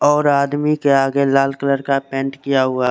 और आदमी के आगे लाला कलर का पेंट किया हुआ--